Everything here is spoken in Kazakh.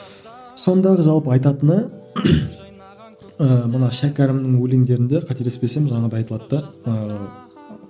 сондағы жалпы айтатыны ы мына шәкәрімнің өлеңдерінде қателеспесем жаңағыда айтылады да ыыы